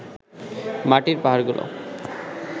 মাটির পাহাড়গুলো